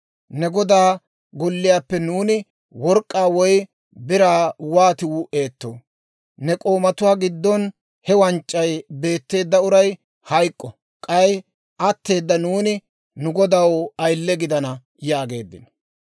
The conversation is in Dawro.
Ne godaa golliyaappe nuuni work'k'aa woy biraa wooti wuu'eetoo? Ne k'oomatuwaa giddon he wanc'c'ay beetteedda uray hayk'k'o; k'ay atteeda nuuni nu godaw ayile gidana» yaageeddino.